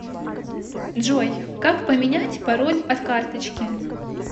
джой как поменять пароль от карточки